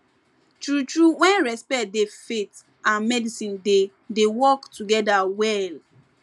true true when respect dey faith and medicine dey dey work together well